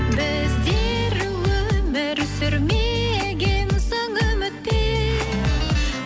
біздер өмір сүрмеген соң үмітпен